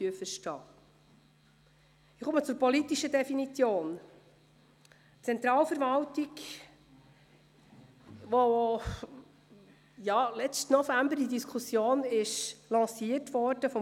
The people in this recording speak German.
Brönnimann gibt eine persönliche Erklärung ab, da sein Name so oft genannt worden ist.